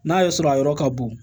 N'a y'a sɔrɔ a yɔrɔ ka bon